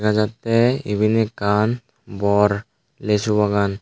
lagette iben ekkan bor lisu bagan.